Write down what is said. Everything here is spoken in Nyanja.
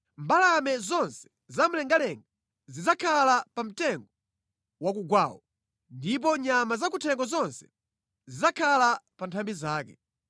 Mbalame zonse zamlengalenga zidzakhala pa mtengo wakugwawo, ndipo nyama zakuthengo zonse zidzakhala pa nthambi zake.